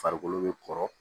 Farikolo bɛ kɔrɔ